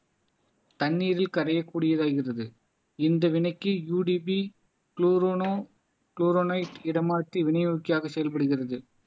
தண்ணீரில் கரையக்கூடியதாய்கிறது இந்த வினைக்கு UDP குளோரோனோ குளோரோனைட் இடமாற்றி விநியோகிக்கையாக செயல்படுகிறது